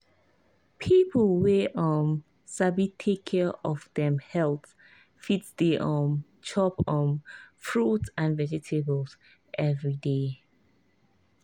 people wey um sabi take care of dem health fit dey um chop um fruit and vegetables every day.